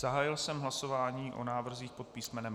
Zahájil jsem hlasování o návrzích pod písm.